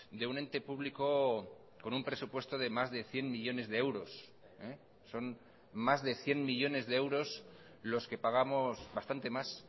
de un ente público con un presupuesto de más de cien millónes de euros son más de cien millónes de euros los que pagamos bastante más